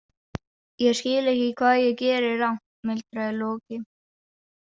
Ég skil ekki hvað ég geri rangt, muldraði Loki.